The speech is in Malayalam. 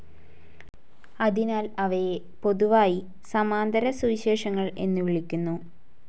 അതിനാൽ അവയെ പൊതുവായി സമാന്തരസുവിശേഷങ്ങൾ എന്നു വിളിക്കുന്നു.